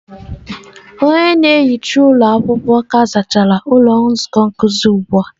Onye na-ehicha ụlọ akwụkwọ ka zachara ụlọ nzukọ nkuzi ụgbụ a.